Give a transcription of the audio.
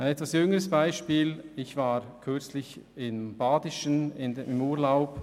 Ein jüngeres Beispiel: Ich war kürzlich in der Region Baden im Urlaub.